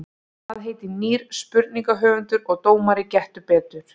Hvað heitir nýr spurningahöfundur og dómari Gettu Betur?